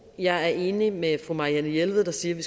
jeg er enig med fru marianne jelved der siger at vi